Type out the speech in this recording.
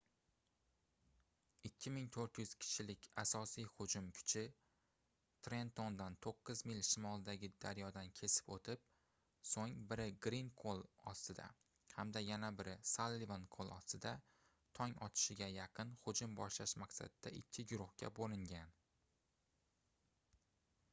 2400 kishilik asosiy hujum kuchi trentondan toʻqqiz mil shimoldagi daryodan kesib oʻtib soʻng biri grin qoʻl ostida hamda yana biri sallivan qoʻl ostida tong otishiga yaqin hujum boshlash maqsadida ikki guruhga boʻlingan